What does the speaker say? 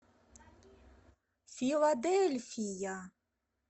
филадельфия